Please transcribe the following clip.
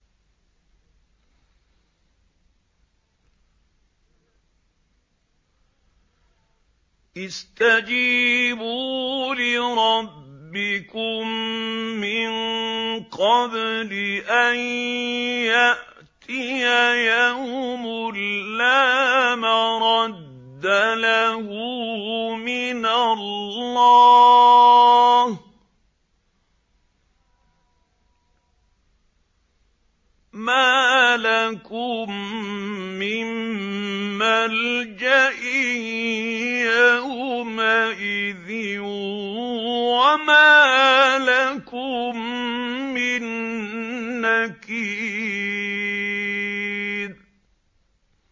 اسْتَجِيبُوا لِرَبِّكُم مِّن قَبْلِ أَن يَأْتِيَ يَوْمٌ لَّا مَرَدَّ لَهُ مِنَ اللَّهِ ۚ مَا لَكُم مِّن مَّلْجَإٍ يَوْمَئِذٍ وَمَا لَكُم مِّن نَّكِيرٍ